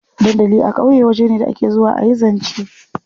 Dandali a ƙauye waje ne da ake zuwa a yi zance.